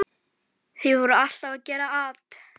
Þeir voru alltaf að gera at.